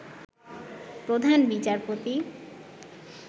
প্রধান বিচারপতি